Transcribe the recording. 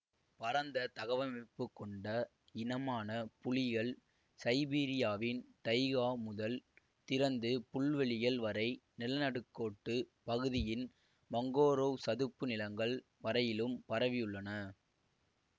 பரந்த தகவமைப்பு கொண்ட இனமான புலிகள் சைபீரியாவின் டைகா முதல் திறந்து புல்வெளிகள் வரை நிலநடுக்கோட்டுப் பகுதியின் மங்கோரோவ் சதுப்பு நிலங்கள் வரையிலும் பரவி உள்ளன